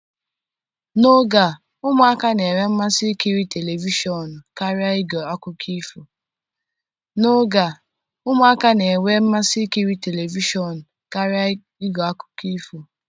N'oge a ụmụaka na-enwe mmasị ikiri telivishọn karịa ige akụkọ ifo